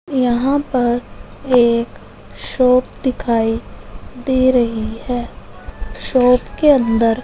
यहां पर एक शॉप दिखाई दे रही है शॉप के अंदर--